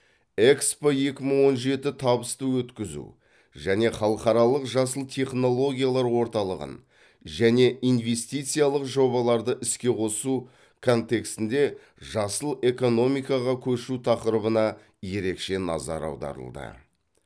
экспо екі мың он жеті табысты өткізу және халықаралық жасыл технологиялар орталығын және инвестициялық жобаларды іске қосу контексінде жасыл экономикаға көшу тақырыбына ерекше назар аударылды